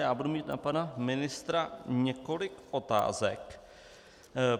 Já budu mít na pana ministra několik otázek.